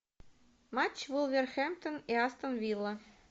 матч вулверхэмптон и астон вилла